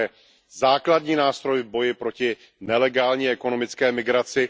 To je základní nástroj v boji proti nelegální ekonomické migraci.